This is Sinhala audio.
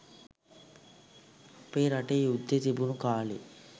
අපේ රටේ යුද්දෙ තිබුණු කා‍ලේ